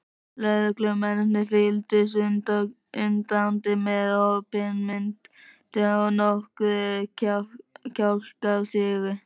Lögreglumennirnir fylgdust undrandi með, opinmynntir og nokkrir kjálkar sigu.